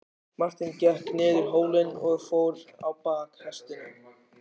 Marteinn gekk niður hólinn og fór á bak hestinum.